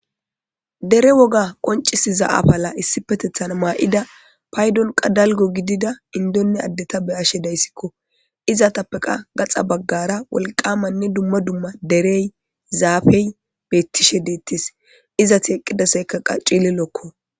Dere woga konc'isiza afala issippetethan mayda qas payddon dalgga gidiza inddonne ade be'ashe dayssko izetappekka gaxa bagara Gita wolqqamanne dumma dumma dere zafey betishe de'etes izeti eqidasoykka qas c'lilokko.